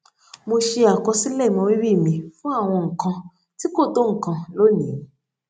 mo ṣe àkọsílè ìmọrírì mi fún àwọn nǹkan tí kò tó nǹkan lónìí